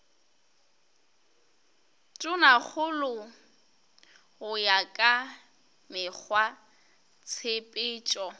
tonakgolo go ya ka mekgwatshepetšo